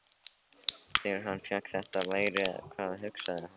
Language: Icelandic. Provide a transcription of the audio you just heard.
Þegar hann fékk þetta færi, hvað hugsaði hann?